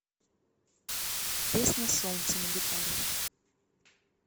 песня солнце на гитаре